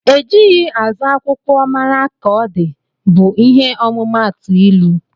Ejighi azụ akwụkwọ mara ka ọdi bu ihe ọmumatu ilụ.